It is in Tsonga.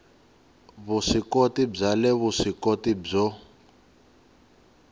vuswikoti bya le vuswikoti byo